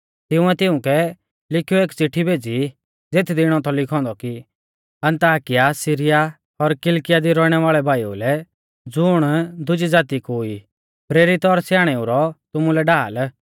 तिंउऐ तिउंकै लिखीयौ एक चिट्ठी भेज़ी ज़ेथदी इणौ थौ लिखौ औन्दौ कि अन्ताकिया सीरिया और किलकिया दी रौइणै वाल़ै भाईऊ लै ज़ुण दुजी ज़ाती कु ई प्रेरित और स्याणेउ रौ तुमुलै ढाल